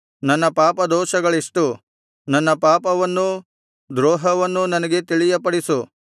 ನನ್ನ ಪಾಪದೋಷಗಳೆಷ್ಟು ನನ್ನ ಪಾಪವನ್ನೂ ದ್ರೋಹವನ್ನೂ ನನಗೆ ತಿಳಿಯಪಡಿಸು